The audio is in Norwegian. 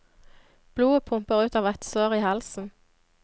Blodet pumper ut av et sår i halsen.